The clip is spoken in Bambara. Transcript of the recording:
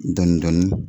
Dɔɔnin dɔɔnin